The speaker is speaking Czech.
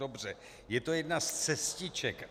Dobře, je to jedna z cestiček.